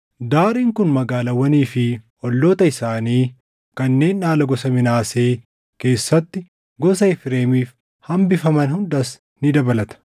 Daariin kun magaalaawwanii fi olloota isaanii kanneen dhaala gosa Minaasee keessatti gosa Efreemiif hambifaman hundas ni dabalata.